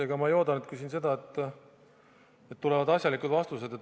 Ega ma ei oodanudki siin seda, et tulevad asjalikud vastused.